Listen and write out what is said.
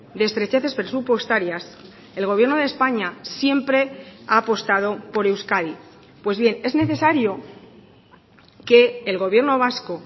de estrecheces presupuestarias el gobierno de españa siempre ha apostado por euskadi pues bien es necesario que el gobierno vasco